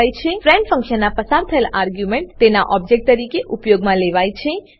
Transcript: friend ફંક્શનમાં પસાર થયેલ આર્ગ્યુંમેંટ તેના ઓબજેક્ટ તરીકે ઉપયોગમાં લેવાય છે